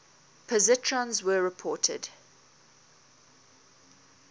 positrons were reported